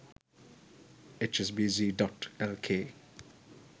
hsbc.lk